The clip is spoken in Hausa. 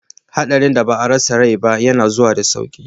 Hadarin da ba a rasa rai ba yana zuwa da sauki.